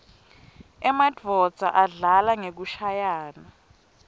emanuodza adlala ngekushayaua